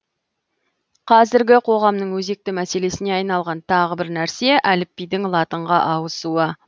қазіргі қоғамның өзекті мәселесіне айналған тағы бір нәрсе әліпбидің латынға ауысуы